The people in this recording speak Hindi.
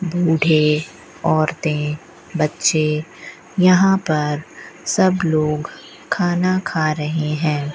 बूढ़े औरतें बच्चे यहां पर सब लोग खाना खा रहे हैं।